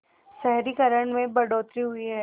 शहरीकरण में बढ़ोतरी हुई है